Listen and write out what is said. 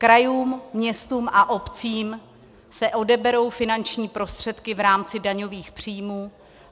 Krajům, městům a obcím se odeberou finanční prostředky v rámci daňových příjmů.